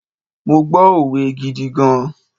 Mo gbọ́ òwe gidi gan.